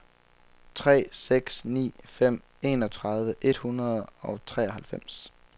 tre seks ni fem enogtredive et hundrede og treoghalvfems